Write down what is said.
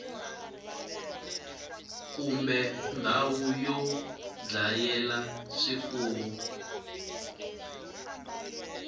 kumbe ndhawu yo dlayela swifuwo